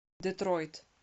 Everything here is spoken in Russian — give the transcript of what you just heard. детройт